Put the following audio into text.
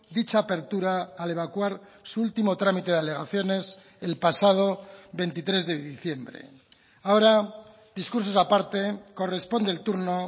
dicha apertura al evacuar su último trámite de alegaciones el pasado veintitrés de diciembre ahora discursos aparte corresponde el turno